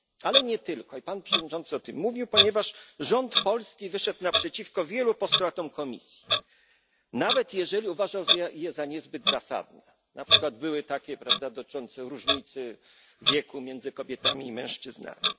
Ale nie tylko i pan przewodniczący o tym mówił ponieważ rząd polski wyszedł naprzeciwko wielu postulatom Komisji, nawet jeśli uważał je za niezbyt zasadne, np. były takie postulaty dotyczące różnicy wieku między kobietami i mężczyznami.